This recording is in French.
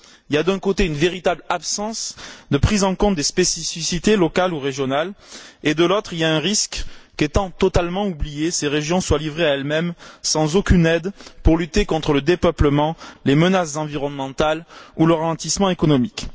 Il y a, d'un côté, une véritable absence de prise en compte des spécificités locales ou régionales et, de l'autre, il y a un risque qu'étant totalement oubliées, ces régions soient livrées à elles mêmes, sans aucune aide pour lutter contre le dépeuplement, les menaces environnementales ou le ralentissement économique.